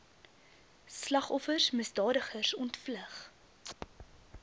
slagoffers misdadigers ontvlug